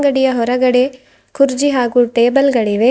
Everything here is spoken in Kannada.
ಅಂಗಡಿಯ ಹೊರಗಡೆ ಕುರ್ಚಿ ಹಾಗೂ ಟೇಬಲ್ ಗಳಿವೆ.